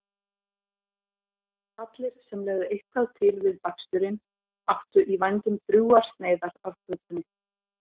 Allir sem legðu eitthvað til við baksturinn áttu í vændum drjúgar sneiðar af kökunni.